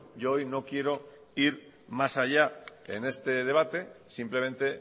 yo hoy no quiero ir más allá en este debate simplemente